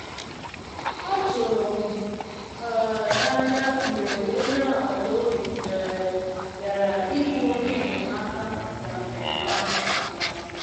Ọ tụrụ m um na anya mgbe onye agbata obim um bịara ịbụ onye enyemaka na mmemme ahụ um